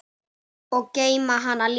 Og geyma hana líka.